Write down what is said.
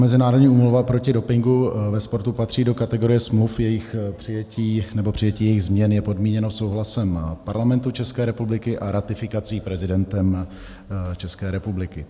Mezinárodní úmluva proti dopingu ve sportu patří do kategorie smluv, jejichž přijetí, nebo přijetí jejich změn je podmíněno souhlasem Parlamentu České republiky a ratifikací prezidentem České republiky.